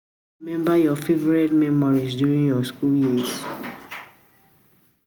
you fit remember your favorite memories during your school years?